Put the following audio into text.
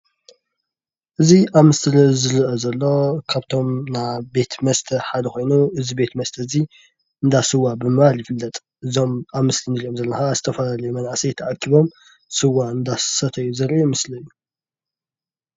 እዚ ኣብ ምስሊ ዝረአ ዘሎ ካብቶም ናይ ቤት መስተ ሓደ ኮይኑ እዚ ቤት መስተ እዚ እንዳ ስዋ ብምባል ይፍለጥ እዞም ኣብ ምስሊ ንሪኦም ዘለና ከዓ ዝተፈላለዩ መናእሰይ ተኣኪቦም ስዋ እናሰተዩ ዘርኢ ምስሊ እዪ ።